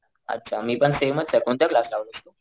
अच्छा मी पण सेमचे कोणता क्लास लावलास तू?